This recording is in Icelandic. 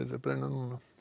brenna